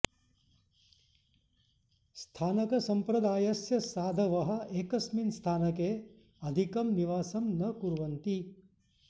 स्थानकसम्प्रदायस्य साधवः एकस्मिन् स्थानके अधिकं निवासं न कुर्वन्ति